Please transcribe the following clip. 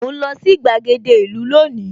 Mò ń lọ sí gbàgede ìlú lónìí